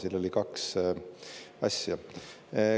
Siin oli kaks asja.